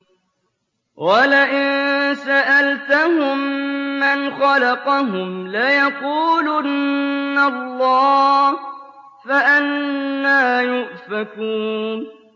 وَلَئِن سَأَلْتَهُم مَّنْ خَلَقَهُمْ لَيَقُولُنَّ اللَّهُ ۖ فَأَنَّىٰ يُؤْفَكُونَ